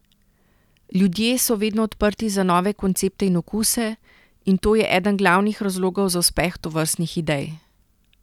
Ljudje so vedno odprti za nove koncepte in okuse, in to je eden glavnih razlogov za uspeh tovrstnih idej.